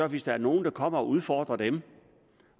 hvis der er nogle der kommer og udfordrer dem